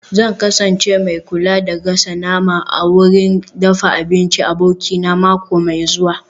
Zan kasance mai kula da gasa nama a wurin dafa abinci abokina mako mai zuwa